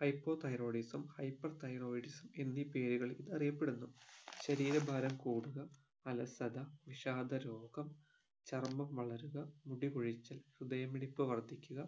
hypothyroidism hyperthyroidism എന്നീ പേരുകളിൽ ഇത് അറിയപ്പെടുന്നു ശരീര ഭാരം കൂടുക അലസത വിഷാദ രോഗം ചർമം വളരുക മുടി കൊഴിച്ചൽ ഹൃദയമിടിപ്പ് വർദ്ധിക്കുക